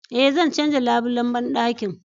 Eh, zan canja labulen bandakin